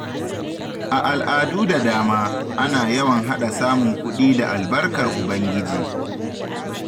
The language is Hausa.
A al’adu da dama, ana yawan haɗa samun kuɗi da albarkar Ubangiji.